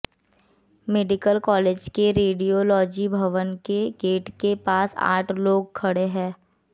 medical college के radiology भवन के गेट के पास आठ लोग खड़े हैं